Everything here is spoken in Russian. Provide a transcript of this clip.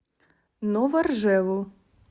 новоржеву